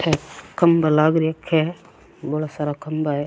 खम्भा लाग रखे बौला सारा खम्भा है।